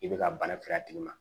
I bɛ ka bana kiri a tigi ma